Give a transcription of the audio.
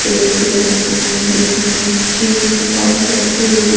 एक उम् उसमें ये चिनी के पाउच रखे हुए दि--